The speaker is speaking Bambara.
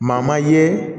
Maa ma ye